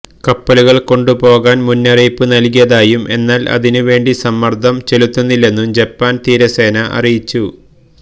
കപ്പലുകള് കൊണ്ടുപോകുവാന് മുന്നറിയിപ്പ് നല്കിയതായും എന്നാല് അതിനുവേണ്ടി സമ്മര്ദ്ദം ചെലുത്തില്ലെന്നും ജപ്പാന് തീരസേന അറിയിച്ചു